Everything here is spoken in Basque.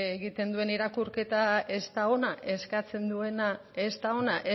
egiten duen irakurketa ez da ona eskatzen duena ez da ona